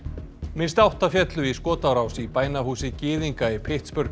minnst átta féllu í skotárás í bænahúsi gyðinga í